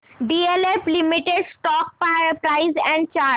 DLF limited stock price and chart